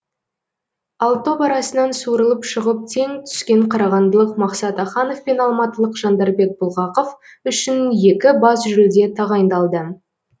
ал топ арасынан суырылып шығып тең түскен қарағандылық мақсат аханов пен алматылық жандарбек бұлғақов үшін екі бас жүлде тағайындалды